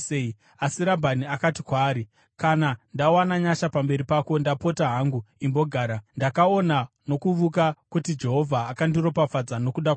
Asi Rabhani akati kwaari, “Kana ndawana nyasha pamberi pako, ndapota hangu imbogara. Ndakaona nokuvuka kuti Jehovha akandiropafadza nokuda kwako.”